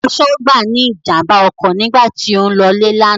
Aṣọ́gbà ní ìjàmbá ọkọ̀ nígbà tó ń lọ́lé lánàá.